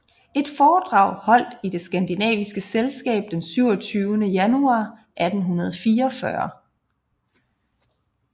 Et foredrag holdt i det skandinaviske Selskab den 27de januar 1844